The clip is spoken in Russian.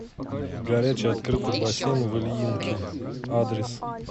горячий открытый бассейн в ильинке адрес